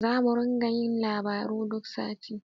Zamu ringa yin labaru duk sati.